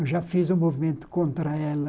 Eu já fiz um movimento contra ela.